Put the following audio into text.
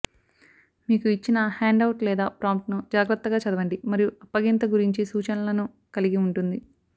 మీకు ఇచ్చిన హ్యాండ్అవుట్ లేదా ప్రాంప్ట్ను జాగ్రత్తగా చదవండి మరియు అప్పగింత గురించి సూచనలను కలిగి ఉంటుంది